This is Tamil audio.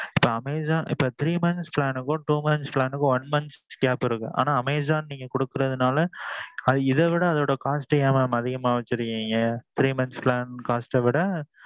so amazon இப்போ three montha plan க்கும் two months plan க்கும் one month gap இருக்கு. ஆனா amazon நீங்க கொடுக்குறது நாலே. அது இத விட அதோட cost ஏன் mam அதிகமா வச்சிருக்கீங்க? three months plan cost விட